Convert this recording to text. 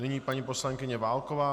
Nyní paní poslankyně Válková.